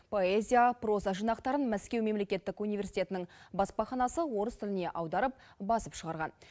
поэзия проза жинақтарының мәскеу мемлекеттік универститетінің баспаханасы орыс тіліне аударып басып шығарған